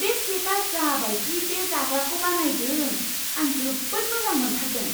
बे शेफआ जा बायदि बे जाग्राखौ बानायदों, आं जोबोद मोजां मोनथारदों,